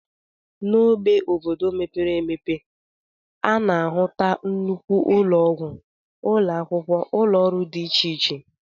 N'ógbè obodo mepere emepe, a na-ahụta nnukwu ụlọọgwụ, ụlọ akwụkwọ, ụlọọrụ dị iche iche